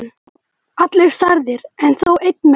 Allir særðir, en þó einn mest.